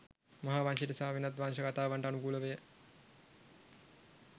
මහා වංශයට සහ වෙනත් වංශ කතාවන්ට අනුකූලව ය